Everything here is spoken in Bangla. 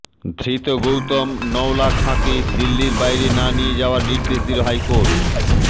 ধৃত গৌতম নওলাখাকে দিল্লির বাইরে না নিয়ে যাওয়ার নির্দেশ দিল হাইকোর্ট